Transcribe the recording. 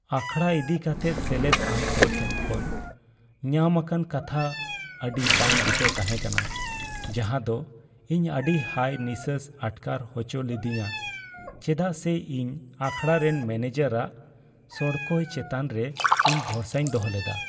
ᱟᱠᱷᱟᱲᱟ ᱤᱫᱤ ᱠᱟᱛᱮ ᱥᱮᱞᱮᱫ ᱟᱱ ᱠᱚ ᱴᱷᱮᱱ ᱠᱷᱚᱱ ᱧᱟᱢ ᱟᱠᱟᱱ ᱠᱟᱛᱷᱟ ᱟᱹᱰᱤ ᱵᱟᱝᱼᱵᱩᱴᱟᱹ ᱛᱟᱦᱮᱸ ᱠᱟᱱᱟ, ᱡᱟᱦᱟᱸ ᱫᱚ ᱤᱧ ᱟᱹᱰᱤ ᱦᱟᱭ ᱱᱤᱥᱥᱟᱹᱥ ᱟᱴᱠᱟᱨ ᱚᱪᱚ ᱞᱤᱫᱤᱧᱟ ᱪᱮᱫᱟᱜ ᱥᱮ ᱤᱧ ᱟᱠᱷᱟᱲᱟ ᱨᱮᱱ ᱢᱚᱱᱮᱡᱟᱨ ᱟᱜ ᱥᱚᱲᱠᱚᱡ ᱪᱮᱛᱟᱱ ᱨᱮ ᱤᱧ ᱵᱷᱚᱨᱥᱟᱧ ᱫᱚᱦᱚ ᱞᱮᱫᱟ ᱾